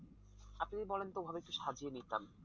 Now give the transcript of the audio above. আপনি যদি বলেন তো ওভাবে একটু সাজিয়ে নিতাম।